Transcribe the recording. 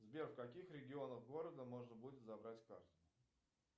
сбер в каких регионах города можно будет забрать карту